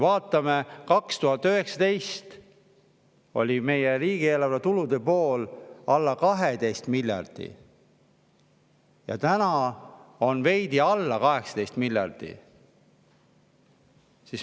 Vaatame seda, et aastal 2019 oli meie riigieelarve tulude pool veidi alla 12 miljardi, praegu on veidi alla 18 miljardi.